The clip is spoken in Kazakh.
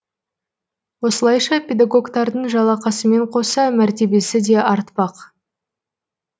осылайша педагогтардың жалақысымен қоса мәртебесі де артпақ